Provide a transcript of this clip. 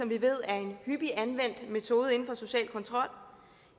vi ved er en hyppigt anvendt metode inden for social kontrol